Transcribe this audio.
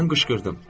Mən qışqırdım.